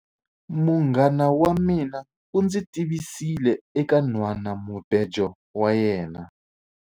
Munghana wa mina u ndzi tivisile eka nhwanamubejo wa yena.